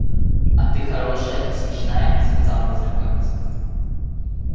а ты хорошая смешная сказал незнакомец